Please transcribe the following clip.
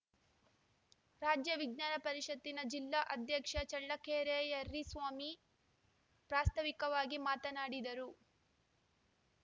ರಾಜ್ಯ ವಿಜ್ಞಾನ ಪರಿಷತ್ತಿನ ಜಿಲ್ಲಾ ಅಧ್ಯಕ್ಷ ಚಳ್ಳಕೆರೆ ಯರ್ರಿಸ್ವಾಮಿ ಪ್ರಾಸ್ತಾವಿಕವಾಗಿ ಮಾತನಾಡಿದರು